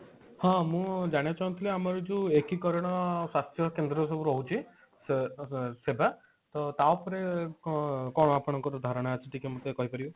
ହଁ ମୁଁ ଜାଣିବାକୁ ଚାହୁଁଥିଲି ଆମର ଯୋଉ ଏକୀକରଣ ସ୍ୱାସ୍ଥ୍ୟ କେନ୍ଦ୍ର ସବୁ ରହୁଛି ସେବା ତ ତା ଉପରେ କଣ କଣ ଆପଣଙ୍କ ଧାରଣା ଅଛି ଟିକେ ମତେ କହି ପାରିବେ।